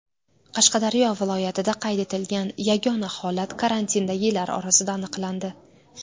Qashqadaryo viloyatida qayd etilgan yagona holat karantindagilar orasida aniqlandi .